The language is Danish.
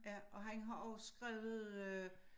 Ja og han har også skrevet øh